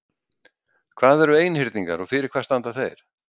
Hvað eru einhyrningar og fyrir hvað standa þeir?